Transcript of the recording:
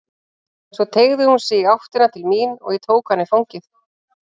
Svo teygði hún sig í áttina til mín og ég tók hana í fangið.